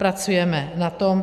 Pracujeme na tom.